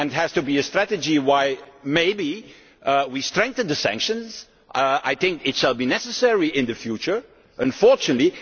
It has to be a strategy where maybe we strengthen sanctions I think it shall be necessary in the future, unfortunately.